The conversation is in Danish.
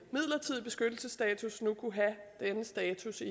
midlertidig beskyttelsesstatus nu kunne have denne status i